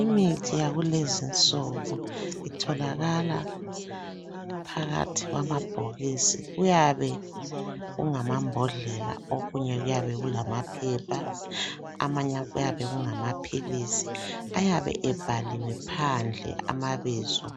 Imithi yakulezinsuku itholakala phakathi kwamabhokisi. Kuyabe kungamambodlela okunye kuyabe kulamaphepha amanye kuyabe kungamaphilisi ayabe ebhaliwe phandle amabizo